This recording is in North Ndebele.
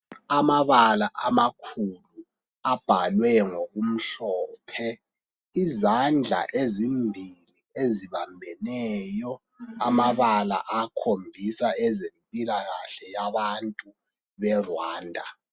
Amabala amakhulu Abhalwe ngokumhlophe izandla ezimbili ezibambeneyo amabala ayakhombisa ezempilakahle yabantu beRwanda